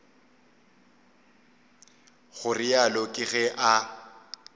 go realo ke ge a